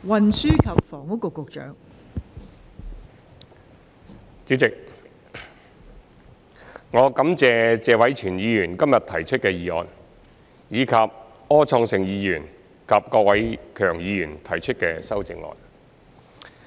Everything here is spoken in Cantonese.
代理主席，我感謝謝偉銓議員今天提出的議案，以及柯創盛議員及郭偉强議員提出的修正案。